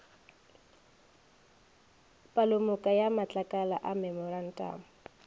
palomoka ya matlakala a memorantamo